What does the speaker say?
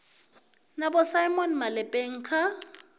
na vho simon malepeng kha